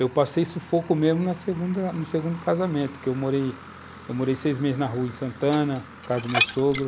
Eu passei sufoco mesmo na segunda, no segundo casamento, porque eu morei seis meses na rua, em Santana, por causa do meu sogro.